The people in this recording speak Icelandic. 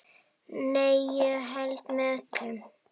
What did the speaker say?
Nei, ég held með öllum.